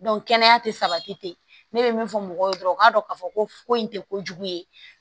kɛnɛya tɛ sabati ne bɛ min fɔ mɔgɔw ye dɔrɔn u k'a dɔn k'a fɔ ko ko in tɛ kojugu ye